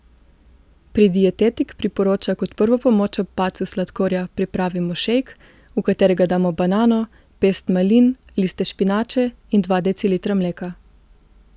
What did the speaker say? Pri Dietetik priporoča kot prvo pomoč ob padcu sladkorja pripravimo šejk, v katerega damo banano, pest malin, liste špinače in dva decilitra mleka.